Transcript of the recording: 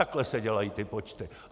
Takhle se dělají ty počty.